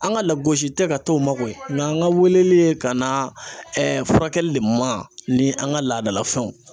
An ka lagosi tɛ ka to makoyi, nka an ka weleli ye ka na furakɛli de ma ni an ka laadalafɛnw.